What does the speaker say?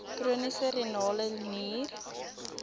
chroniese renale nier